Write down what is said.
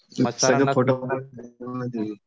मग त्यांना